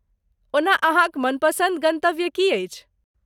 ओना अहाँक मनपसन्द गन्तव्य की अछि?